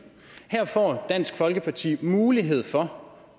her får dansk folkeparti mulighed for